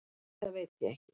Nei, það veit ég ekki